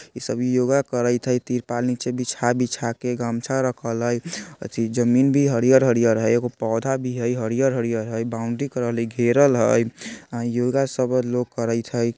इ सभी योगा करेएत हय तिरपाल नीचे बिछा-बिछा के गमछा रखल हय अथी जमीन भी हरियर-हरियर हय एगो पौधा भी हय हरियर-हरियर हय बाउंड्री करल हय घेरल हय योगा सब लोग करैएत हय।